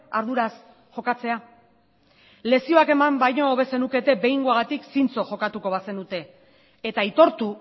arduraz jokatzea lezioak eman baino hobe zenukete behingoagatik zintzo jokatuko bazenute eta aitortu